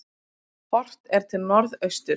Horft er til norðausturs.